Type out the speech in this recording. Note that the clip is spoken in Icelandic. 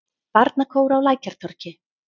Barnakór á Lækjartorgi.